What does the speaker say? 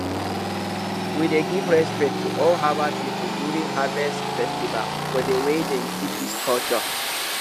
we dey give respect to old herbal people during harvest festival for the way dem keep these culture